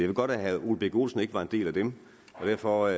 ved godt at herre ole birk olesen ikke var en del af den og derfor